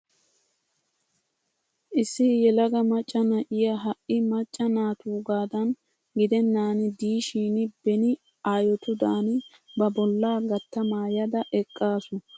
Issi yelaga macca na'iya ha"i macca naatuugadan gidennan diishin beni aayotudan ba bollaa gatta maayada eqqaasu. O qassi xoossi anjjo gaada sabbays.